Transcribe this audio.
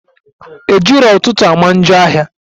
Ejiro ụtụtụ ama njọ ahia